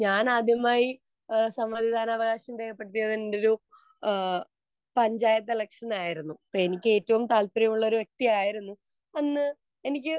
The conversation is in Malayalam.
ഞാൻ ആദ്യമായി എന്റെ സമ്മതിദാനാവകാശം രേഖപ്പെടുത്തിയത് ഒരു പഞ്ചായത്ത് ഇലക്ഷന് ആയിരുന്നു . എനിക്ക് ഏറ്റവും താല്പര്യമുള്ള ഒരു വ്യക്തിയായിരുന്നു അന്ന് എനിക്ക്